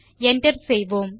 enter செய்யலாம்